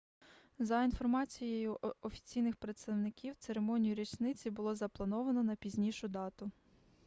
за інформацією офіційних представників церемонію річниці було заплановано на пізнішу дату